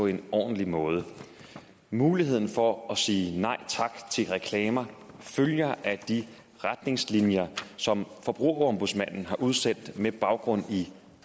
på en ordentlig måde muligheden for at sige nej tak til reklamer følger af de retningslinjer som forbrugerombudsmanden har udsendt med baggrund i